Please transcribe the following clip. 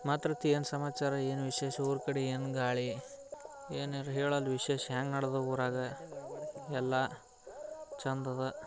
ಮಾತೃತಿ ಏನು ಸಮಾಚಾರ ಏನು ವಿಶೇಷ ಊರುಕಡೆ ಏನು ಗಾಳಿ ಏನು ಹೇಳೋದು ವಿಶೇಷ ಎಂಗೆ ನಡೆದು ಊರಗ ಎಲ್ಲ ಚಂದದ